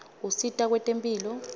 usita kwetemphilo